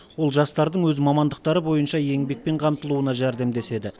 ол жастардың өз мамандықтары бойынша еңбекпен қамтылуына жәрдемдеседі